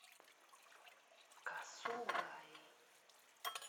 касугаи